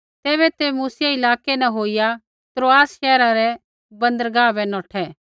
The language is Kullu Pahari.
तैबै ते मूसिया इलाकै न होईया त्रोआसा शैहरा रै बन्दरगाह बै नौठै